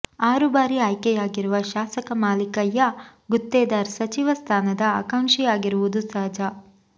ಆರು ಬಾರಿ ಆಯ್ಕೆಯಾಗಿರುವ ಶಾಸಕ ಮಾಲೀಕಯ್ಯ ಗುತ್ತೇದಾರ್ ಸಚಿವ ಸ್ಥಾನದ ಆಕಾಂಕ್ಷಿಯಾಗಿರುವುದು ಸಹಜ